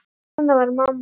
Svona var mamma.